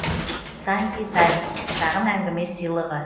санди таймс шағын әңгіме сыйлығы